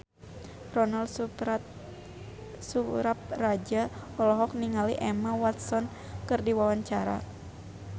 Ronal Surapradja olohok ningali Emma Watson keur diwawancara